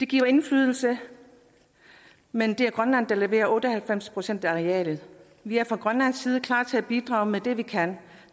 giver indflydelse men det er grønland der leverer otte og halvfems procent af arealet vi er fra grønlands side klar til at bidrage med det vi kan